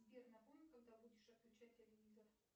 сбер напомни когда будешь отключать телевизор